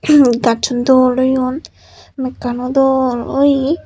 yun gassun dol oyon mekkan ow dol oye.